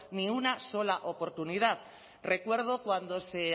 ni una sola oportunidad recuerdo cuando se